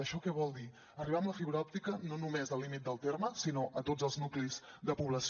això què vol dir arribar amb la fibra òptica no només al límit del terme sinó a tots els nuclis de població